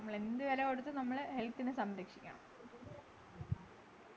നമ്മളെന്ത് വിലകൊടുത്തും നമ്മളെ health നെ സംരക്ഷിക്കണം